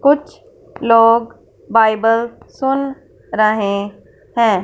कुछ लोग बाइबल सुन रहे हैं।